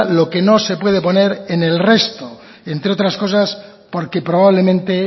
lo que no se puede poner en el resto entre otras cosas porque probablemente